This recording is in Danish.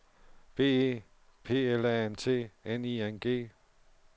B E P L A N T N I N G